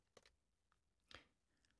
DR2